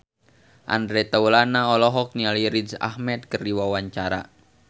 Andre Taulany olohok ningali Riz Ahmed keur diwawancara